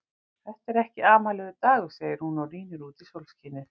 Þetta er ekki amalegur dagur, segir hún og rýnir út í sólskinið.